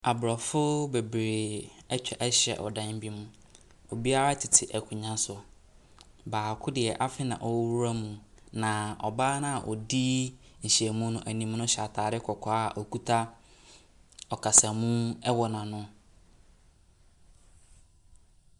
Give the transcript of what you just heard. Abrɔfoɔ bebree atwa ahyia wɔ dan bi mu. Obiara tete akonnwa so. Baako deɛ, afei na ɔreworɔ ne ho. Na ɔbaa no a odi nhyiam no anim no hyɛ ataade kɔkɔɔ a okita ɔkasamu wɔ n'ano.